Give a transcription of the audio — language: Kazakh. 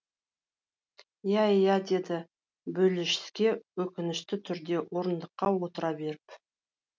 иә иә деді болешске өкінішті түрде орындыққа отыра беріп